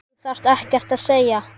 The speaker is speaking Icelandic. Þú þarft ekkert að segja.